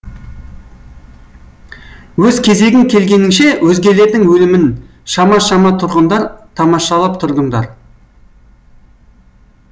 өз кезегің келгеніңше өзгелердің өлімін шама шама тұрғындар тамашалап тұрдыңдар